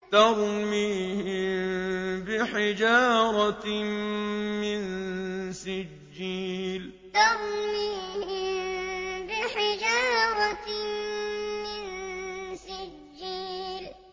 تَرْمِيهِم بِحِجَارَةٍ مِّن سِجِّيلٍ تَرْمِيهِم بِحِجَارَةٍ مِّن سِجِّيلٍ